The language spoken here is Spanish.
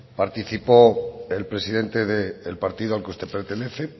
participó el presidente del partido al que usted pertenece